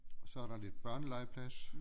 Og så er der lidt børnelegeplads